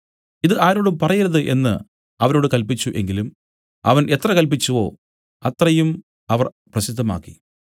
ഇതു ആരോടും പറയരുത് എന്നു അവരോട് കല്പിച്ചു എങ്കിലും അവൻ എത്ര കല്പിച്ചുവോ അത്രയും അവർ പ്രസിദ്ധമാക്കി